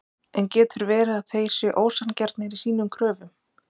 En getur verið að þeir séu ósanngjarnir í sínum kröfum?